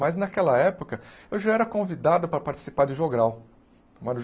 Mas, naquela época, eu já era convidado para participar de jogral.